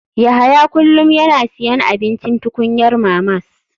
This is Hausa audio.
Yahya kullum yana siyan abincin tukunyar mamas.